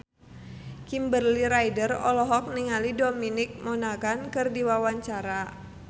Kimberly Ryder olohok ningali Dominic Monaghan keur diwawancara